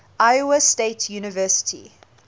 iowa state university